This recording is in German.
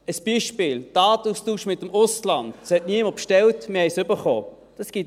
Ein Beispiel: Den Datenaustausch mit dem Ausland hat niemand bestellt, aber wir haben ihn erhalten.